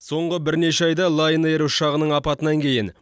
соңғы бірнеше айда лаин эйр ұшағының апатынан кейін